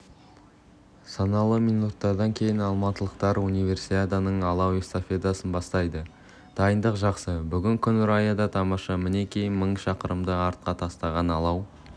санаулы минуттардан кейін алматылықтар универсиаданың алау эстафетасын бастайды дайындық жақсы бүгін күн райы да тамаша мінекей мың шақырымды артқа тастаған алау